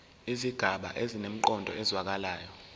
izigaba zinemiqondo ezwakalayo